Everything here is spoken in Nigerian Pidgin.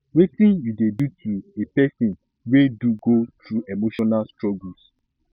wetin you dey do to a pesin wey do go through emotional struggles